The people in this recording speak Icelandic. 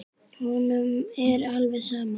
Honum er alveg sama.